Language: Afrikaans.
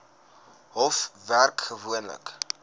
hof werk gewoonlik